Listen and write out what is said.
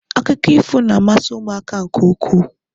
Akụkọ ifo na-amasị ụmụaka nke ukwuu